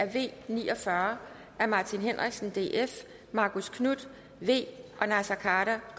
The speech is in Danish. v ni og fyrre af martin henriksen marcus knuth